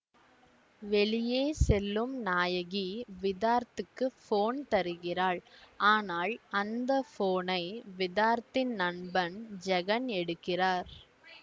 வெளியே செல்லும் நாயகி விதார்த்துக்கு போன் தருகிறாள் ஆனால் அந்த போனை விதார்த்தின் நண்பன் ஜெகன் எடுக்கிறார்